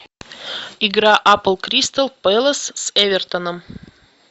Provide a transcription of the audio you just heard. игра апл кристал пэлас с эвертоном